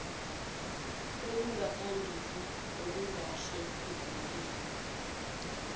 olungaphambili olungahle luvunyelwe